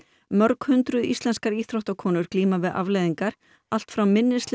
mörghundruð íslenskar íþróttakonur glíma við afleiðingar allt frá minnisleysi